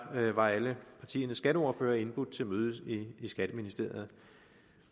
var alle partiernes skatteordførere indbudt til møde i skatteministeriet